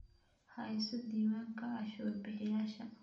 Hayso diiwaanka cashuur bixiyayaasha.